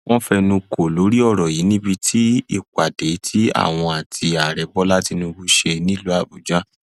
wọn fẹnu kò lórí ọrọ yìí níbi ìpàdé tí àwọn àti ààrẹ bọlá tínúbù ṣe nílùú àbújá